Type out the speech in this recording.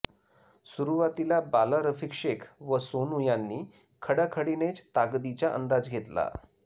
सुरुवातीला बाला रफिक शेख व सोनू यांनी खडाखडीनेच ताकदीचा अंदाज घेतला